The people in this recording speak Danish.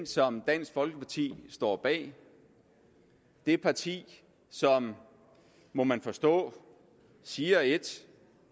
som dansk folkeparti står bag det parti som må man forstå siger et